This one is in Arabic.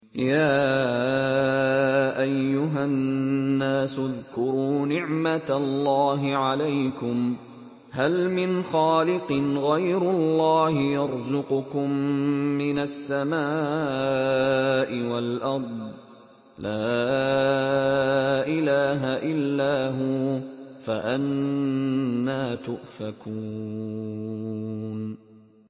يَا أَيُّهَا النَّاسُ اذْكُرُوا نِعْمَتَ اللَّهِ عَلَيْكُمْ ۚ هَلْ مِنْ خَالِقٍ غَيْرُ اللَّهِ يَرْزُقُكُم مِّنَ السَّمَاءِ وَالْأَرْضِ ۚ لَا إِلَٰهَ إِلَّا هُوَ ۖ فَأَنَّىٰ تُؤْفَكُونَ